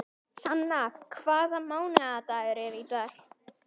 Sanna, hvaða mánaðardagur er í dag?